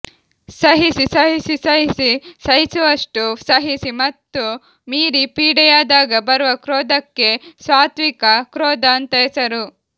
ಸಹಿಸಿ ಸಹಿಸಿ ಸಹಿಸಿ ಸಹಿಸುವಷ್ಟು ಸಹಿಸಿ ಮತ್ತೂ ಮೀರಿ ಪೀಡೆಯಾದಾಗ ಬರುವ ಕ್ರೋಧಕ್ಕೆ ಸಾತ್ವಿಕ ಕ್ರೋಧ ಅಂತ ಹೆಸರು